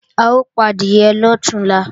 A ó padìẹ lọ̀túnla